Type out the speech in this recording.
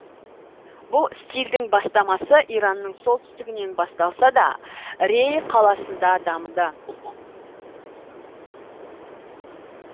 бұл стильдің бастамасы иранның солтүстігінен басталса да рей қаласында дамыды